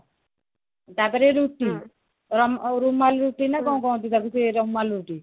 ତାପରେ ରୁଟି ଅ ରୁମାଲି ରୁଟି ନା କଣ କହନ୍ତି ତାକୁ ସେ ରୁମାଲି ରୋଟି